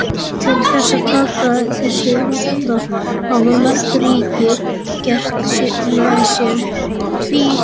Til þess að taka á þessum vanda hafa mörg ríki gert með sér tvísköttunarsamninga.